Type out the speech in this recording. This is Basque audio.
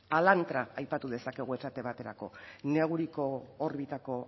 alantra aipatu dezakegu esate baterako neguriko orbitako